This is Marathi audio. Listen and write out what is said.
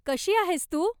कशी आहेस तू?